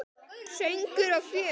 Söngur og fjör.